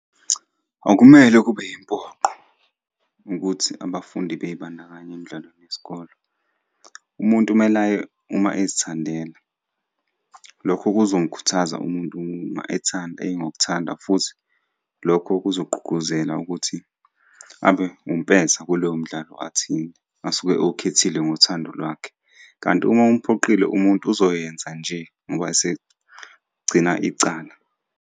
Akumele kube yimpoqo ukuthi abafundi bey'bandakanye emidlalweni yesikole. Umuntu kumele aye uma ezithandela. Lokho kuzomukhuthaza umuntu uma ethanda ngokuthanda futhi lokho kuzogqugquzela ukuthi abe umpetha kulowo mdlalo athini, asuke ewukhethile ngothando lwakhe, kanti uma umuphoqile umuntu uzoyenza nje ngoba esegcina icala.